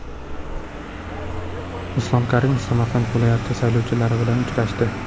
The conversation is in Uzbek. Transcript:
Islom Karimov Samarqand viloyati saylovchilari bilan uchrashdi.